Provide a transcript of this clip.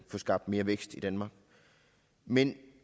få skabt mere vækst i danmark men